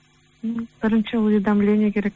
м бірінші уведомление керек